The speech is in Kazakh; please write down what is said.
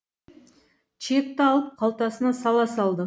чекті алып қалтасына сала салды